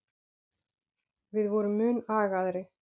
Við vorum mun agaðri.